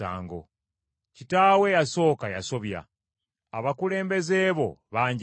Kitaawo eyasooka yasobya, abakulembeze bo baanjemera.